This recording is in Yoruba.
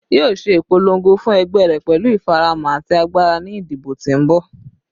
Yoo ṣe ipolongo fun ẹgbẹ rẹ pẹlu ifaramọ ati agbara ni idibo ti n bọ